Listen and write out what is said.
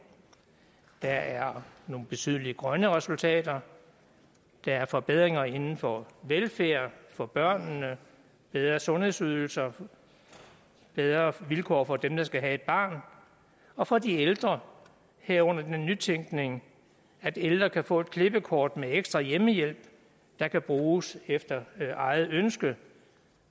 der er nogle betydelige grønne resultater der er forbedringer inden for velfærden for børnene bedre sundhedsydelser bedre vilkår for dem der skal have et barn og for de ældre herunder den nytænkning at ældre kan få et klippekort med ekstra hjemmehjælp der kan bruges efter eget ønske